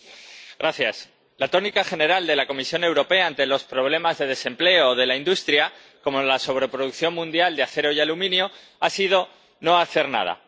Señor presidente, la tónica general de la Comisión Europea ante los problemas de desempleo o de la industria, como en la sobreproducción mundial de acero y aluminio, ha sido no hacer nada.